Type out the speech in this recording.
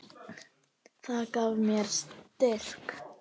Það gaf mér styrk.